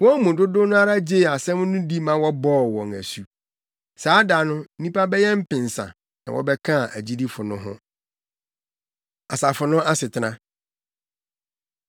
Wɔn mu dodow no ara gyee asɛm no di ma wɔbɔɔ wɔn asu. Saa da no, nnipa bɛyɛ mpensa na wɔbɛkaa agyidifo no ho. Asafo No Asetena